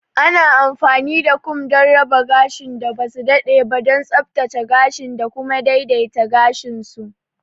Ana amfani da kum don raba gashin da ba su daɗe ba, don tsaftace gashin da kuma daidaita gashin su.